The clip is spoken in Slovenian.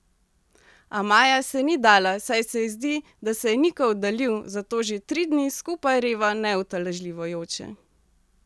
A Maja se ni dala, saj se ji zdi, da se je Niko oddaljil, zato že tri dni skupaj reva neutolažljivo joče ...